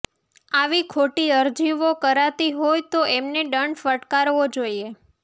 આવી ખોટી અરજીઓ કરાતી હોય તો એમને દંડ ફટકારવો જોઈએ